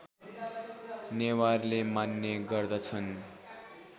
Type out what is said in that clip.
नेवारले मान्ने गर्दछन्